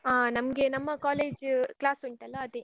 ಅಹ್ ನಮ್ಗೆ ನಮ್ಮ college class ಉಂಟಲ್ಲ ಅದೇ.